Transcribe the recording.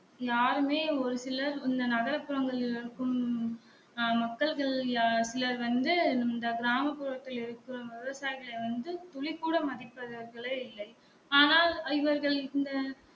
யாருமே ஒரு சிலர் இந்த நகர புறங்களில் இருக்கும் ஆ மக்கள்களில் சிலர் வந்து இந்த கிராம புறங்களில் இருக்கும் விவசாயிகளை வந்து துளிக் கூட மதிப்பவர்களே இல்லை ஆனால் இவர்கள் இந்த